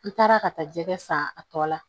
N taara ka taa jɛgɛ san a tɔ la